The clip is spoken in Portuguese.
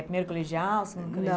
Primeiro colegial, segundo colegial?